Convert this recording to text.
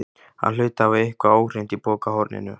Hann hlaut að hafa eitthvað óhreint í pokahorninu.